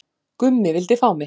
Gummi vildi fá mig